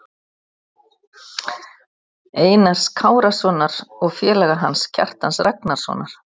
Einars Kárasonar, og félaga hans, Kjartans Ragnarssonar.